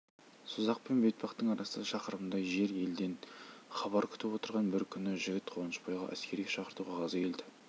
созақ пен бетпақтың арасы шақырымдай жер елден хабар күтіп отырған бір күні жігіт қуанышбайға әскерге шақырту қағазы келді